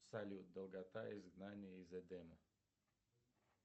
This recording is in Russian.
салют долгота изгнание из эдема